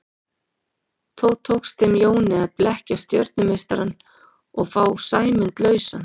Þó tekst þeim Jóni að blekkja stjörnumeistarann og fá Sæmund lausan.